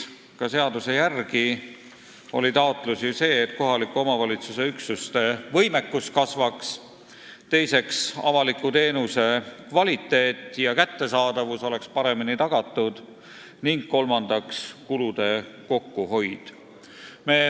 Ka seaduse järgi on taotlused ju sellised: esiteks, et kohaliku omavalitsuse üksuste võimekus kasvaks, teiseks, et avaliku teenuse kvaliteet ja kättesaadavus oleks paremini tagatud, ning kolmandaks, kulude kokkuhoid.